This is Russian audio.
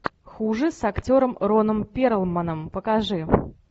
хуже с актером роном перлманом покажи